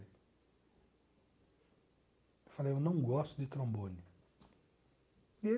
Eu falei, eu não gosto de trombone e